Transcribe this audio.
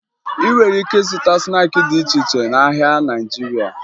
Ị nwere ike ịzụta snaakị dị iche iche n'ahịa Naịjirịa